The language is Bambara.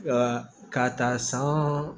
Ka k'a ta san